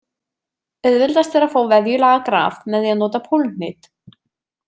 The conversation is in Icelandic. Auðveldast er að fá vefjulaga graf með því að nota pólhnit.